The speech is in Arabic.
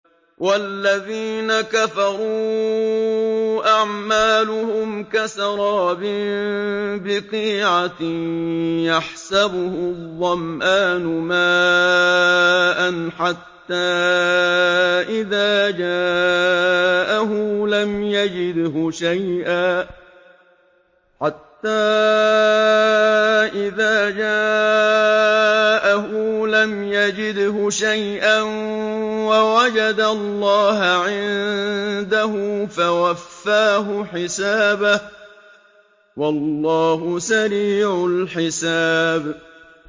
وَالَّذِينَ كَفَرُوا أَعْمَالُهُمْ كَسَرَابٍ بِقِيعَةٍ يَحْسَبُهُ الظَّمْآنُ مَاءً حَتَّىٰ إِذَا جَاءَهُ لَمْ يَجِدْهُ شَيْئًا وَوَجَدَ اللَّهَ عِندَهُ فَوَفَّاهُ حِسَابَهُ ۗ وَاللَّهُ سَرِيعُ الْحِسَابِ